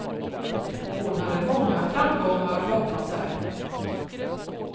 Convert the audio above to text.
Hon hade många framgångar bakom sig.